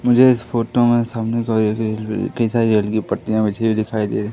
मुझे इस फोटो में सामने कई सारी रेल की पटरियां बिछी हुई दिखाई दे रहीं--